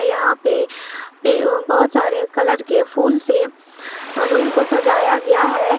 यहां पे बहुत सारे कलर के फूल से रूम को सजाया गया है।